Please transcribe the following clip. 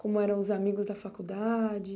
Como eram os amigos da faculdade?